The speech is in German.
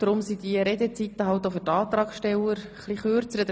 Deshalb sind die Redezeiten auch für die Antragsteller ein wenig kürzer.